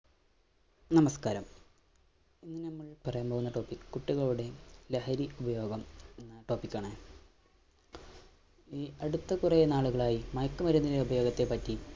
നമസ്കാരം, ഇന്ന് നമ്മള്‍ പറയാന്‍ പോകുന്ന topic കുട്ടികളുടെ ലഹരി ഉപയോഗം എന്ന topic ആണ്. ഈ അടുത്ത കുറേ നാളുകളായി മയക്കുമരുന്നിന്‍റെ ഉപയോഗത്തെ പറ്റി